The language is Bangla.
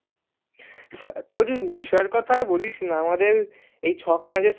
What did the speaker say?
তোর বিষয়ের কথা আর বলিসনা এই ছয়খানা যে semester